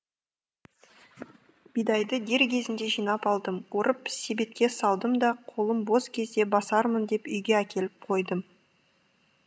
бидайды дер кезінде жинап алдым орып себетке салдым да қолым бос кезде басармын деп үйге әкеліп қойдым